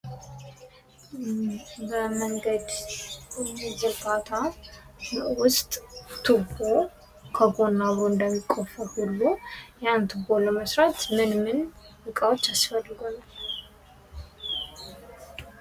በመንገድ ዝርጋታ ውስጥ ቱቦ ከጎን አብሮ እንደሚቆፈር ሁሉ ያን ቱቦ ለመስራት ምን ምን ዕቃዎች አስፈልጋሉ?